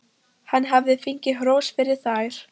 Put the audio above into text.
Hann hafði fengið hrós fyrir þær.